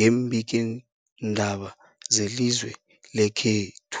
yeembikiindaba zelizwe lekhethu.